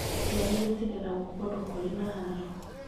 Ciana irĩa cireragwo kũndũ kũrĩ na haaro